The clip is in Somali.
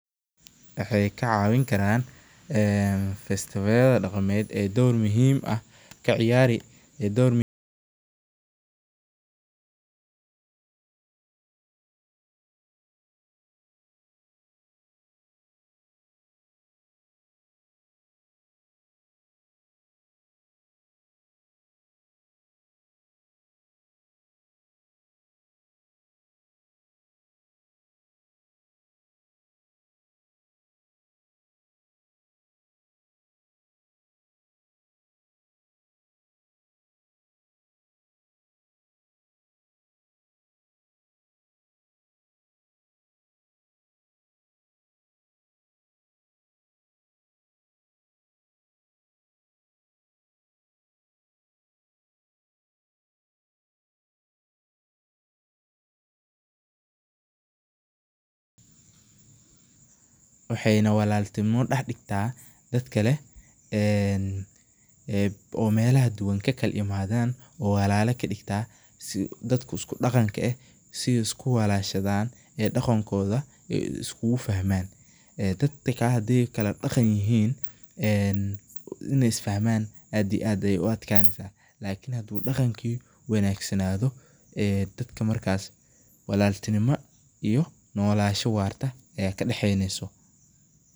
Waxee ka cawin karan vesti daqameed muhiim ah ka ciyari ee dor muhiim waxena walal tinimo dax digtaa dad kalen ee melaha kala duwan ka imadan oo walala kadigtaa si dadka isku daqanka eh isku walashaadan ee daqankodha iskugu fahman ee dad hadii ee kala daqan ee in ee isfahman aad ito aad ayu daqanki in u wanagsanadho ee dadka markas walaltinimo iyo nolol warta aya kadaxeyneso.